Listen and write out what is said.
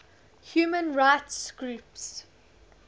human rights groups